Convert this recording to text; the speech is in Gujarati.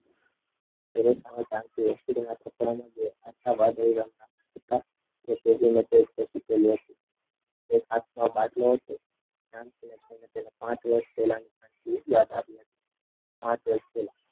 પેલી સામે જાનકી હોસ્પિટલ ના કપડા વાદળી રંગના હતા તે પહેરીને એક હાથમાં બાટલો હતો. જાનકીને જોઈને તેને પાંચ વર્ષ પહેલાંની એવી યાદ આવી હતી પાંચ વર્ષ પહેલા.